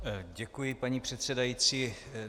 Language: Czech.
Děkuji, paní předsedající.